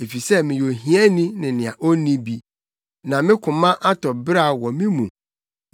Efisɛ meyɛ ohiani ne nea onni bi, na me koma atɔ beraw wɔ me mu.